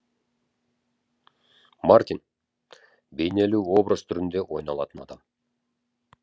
мартин бейнелі образ түрінде ойланатын адам